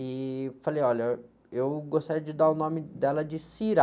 E falei, olha, eu gostaria de dar o nome dela de Syrah.